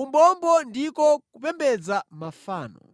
umbombo ndiko kupembedza mafano.